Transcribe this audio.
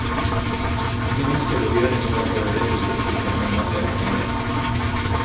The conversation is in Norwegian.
De ønsker å gjøre noe for å rette opp inntrykket, men mangler penger.